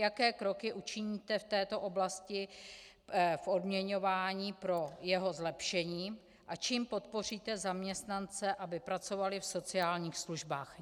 Jaké kroky učiníte v této oblasti v odměňování pro jeho zlepšení a čím podpoříte zaměstnance, aby pracovali v sociálních službách?